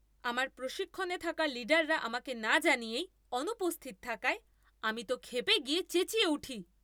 আমার প্রশিক্ষণে থাকা লিডাররা আমাকে না জানিয়েই অনুপস্থিত থাকায় আমি তো ক্ষেপে গিয়ে চেঁচিয়ে উঠি।